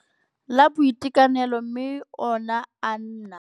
La Boitekanelo mme ona a na.